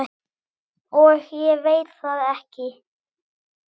Og ég veit það ekki.